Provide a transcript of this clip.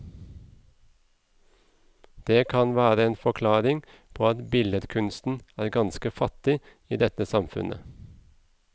Det kan være en forklaring på at billedkunsten er ganske fattig i dette samfunnet.